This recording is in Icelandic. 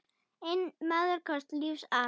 Einn maður komst lífs af.